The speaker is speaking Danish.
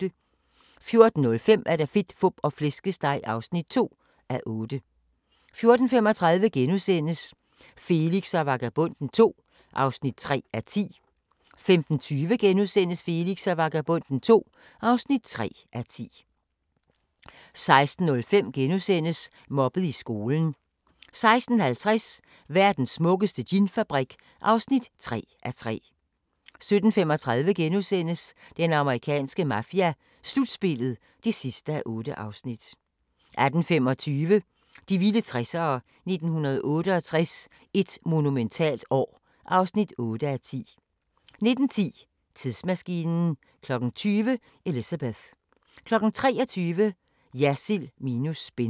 14:05: Fedt, Fup og Flæskesteg (2:8) 14:35: Felix og Vagabonden II (3:10)* 15:20: Felix og Vagabonden II (4:10)* 16:05: Mobbet i skolen * 16:50: Verdens smukkeste ginfabrik (3:3) 17:35: Den amerikanske mafia: Slutspillet (8:8)* 18:25: De vilde 60'ere: 1968 – et monumentalt år (8:10) 19:10: Tidsmaskinen 20:00: Elizabeth 23:00: Jersild minus spin